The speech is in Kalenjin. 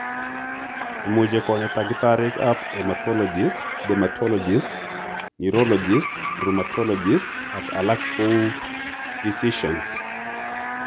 Imuche konya tagitarigap hematologists, dermatologists, neurologists, rheumatologists, ak alak kou physicians.